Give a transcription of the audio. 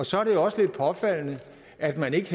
så er det jo også lidt påfaldende at man ikke